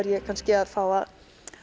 ég kannski að fá að